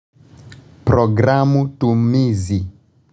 Programu tumizi.